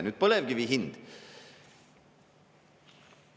Nüüd põlevkivi hind.